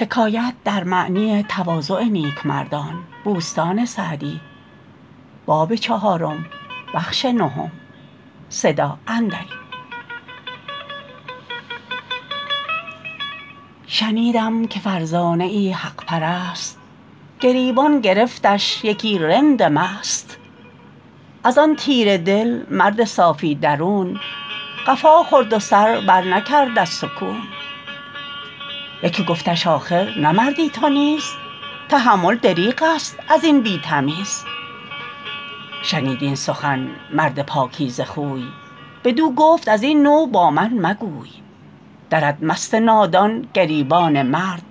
شنیدم که فرزانه ای حق پرست گریبان گرفتش یکی رند مست از آن تیره دل مرد صافی درون قفا خورد و سر بر نکرد از سکون یکی گفتش آخر نه مردی تو نیز تحمل دریغ است از این بی تمیز شنید این سخن مرد پاکیزه خوی بدو گفت از این نوع با من مگوی درد مست نادان گریبان مرد